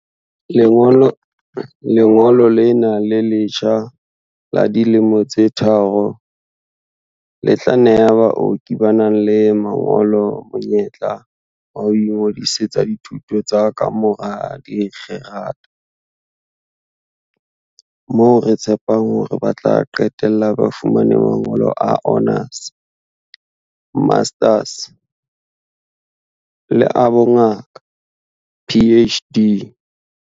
"Lengolo lena le letjha la dilemo tse tharo le tla neha baoki ba nang le mangolo monyetla wa ho ingodisetsa dithuto tsa kamora dikgerata, moo re tshepang hore ba tla qetella ba fumane mangolo a honours, masters le a bongaka, PhD."